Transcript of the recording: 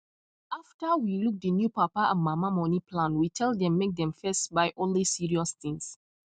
after we look the new papa and mama money plan we tell them make dem first buy only serious things